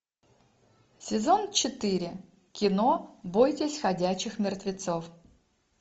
сезон четыре кино бойтесь ходячих мертвецов